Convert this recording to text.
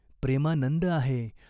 प्रेमानंद आहे.